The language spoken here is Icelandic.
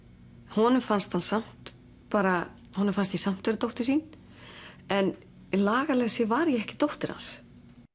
honum fannst hann samt bara honum fannst ég samt vera dóttir sín en lagalega séð var ég ekki dóttir hans